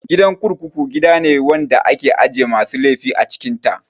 Gidan kurkuku gidane wanda ake ajiye masu laifi a cikin ta